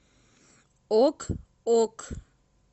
ок ок